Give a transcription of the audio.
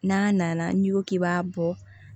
N'a nana n'i ko k'i b'a bɔ